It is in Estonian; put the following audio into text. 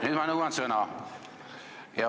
Nüüd ma nõuan sõna.